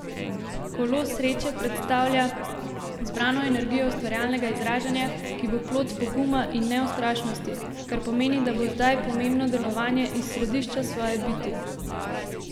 Kolo sreče predstavlja zbrano energijo ustvarjalnega izražanja, ki bo plod poguma in neustrašnosti, kar pomeni, da bo zdaj pomembno delovanje iz središča svoje biti!